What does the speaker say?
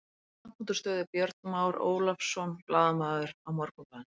Langt útúr stöðu Björn Már Ólafsson, blaðamaður á Morgunblaðinu.